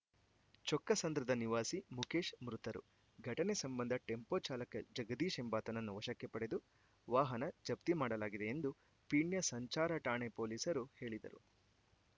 ಚೊಕ್ಕಸಂದ್ರದ ನಿವಾಸಿ ಮುಖೇಶ್‌ ಮೃತರು ಘಟನೆ ಸಂಬಂಧ ಟೆಂಪೋ ಚಾಲಕ ಜಗದೀಶ್‌ ಎಂಬಾತನನ್ನು ವಶಕ್ಕೆ ಪಡೆದು ವಾಹನ ಜಪ್ತಿ ಮಾಡಲಾಗಿದೆ ಎಂದು ಪೀಣ್ಯ ಸಂಚಾರ ಠಾಣೆ ಪೊಲೀಸರು ಹೇಳಿದರು